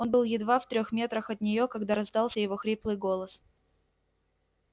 он был едва в трёх метрах от неё когда раздался его хриплый голос